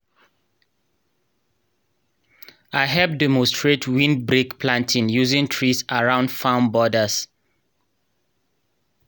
i hep demonstrate windbreak planting using trees around farm borders.